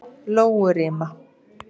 Lóurima